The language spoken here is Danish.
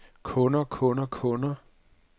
kunder kunder kunder